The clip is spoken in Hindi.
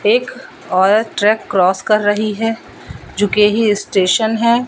एक और ट्रैक क्रॉस कर रही है जोकि यही स्टेशन है।